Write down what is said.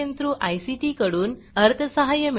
government of India कडून अर्थसहाय्य मिळाले आहे